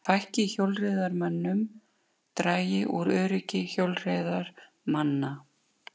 Fækki hjólreiðamönnum dragi úr öryggi hjólreiðamanna